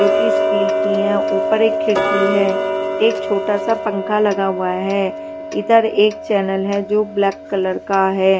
जो की स्टील की हैं ऊपर एक खिड़की है एक छोटा सा पंखा लगा हुआ है इधर एक चैनल है जो ब्लैक कलर का है।